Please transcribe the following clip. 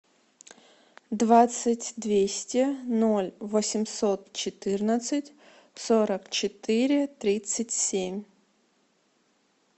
двадцать двести ноль восемьсот четырнадцать сорок четыре тридцать семь